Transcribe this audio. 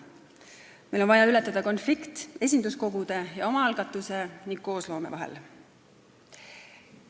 Meil on vaja ületada konflikt esinduskogude ja omaalgatuse ning koosloome vahel.